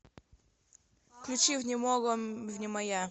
включи внемого внемоя